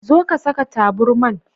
Zo ka Saka taburman.